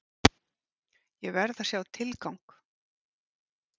Ég verð að sjá tilgang!